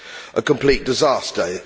A complete disaster.